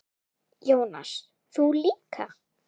Jónas: Þú líka?